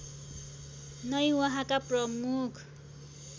नै उहाँका प्रमुख